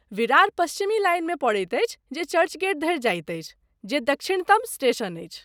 विरार पश्चिमी लाइनमे पड़ैत अछि जे चर्चगेट धरि जाइत अछि, जे दक्षिणतम स्टेशन अछि।